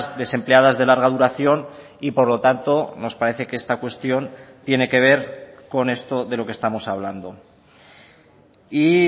desempleadas de larga duración y por lo tanto nos parece que esta cuestión tiene que ver con esto de lo que estamos hablando y